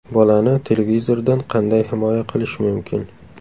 Bolani televizordan qanday himoya qilish mumkin?.